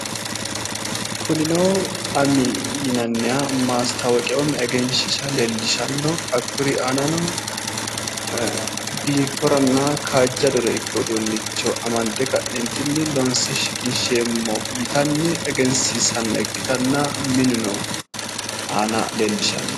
Kunino ami yinanniha maastaawoqiya woyi egenshiishsha leellishanno hakkuri aanano biinforenna kaajjadore uduunnicho amande ka'neentinni uduunnicho loonse shiqinsheemmo yitanni egensiissanno ikkitanna aana leellishshanno.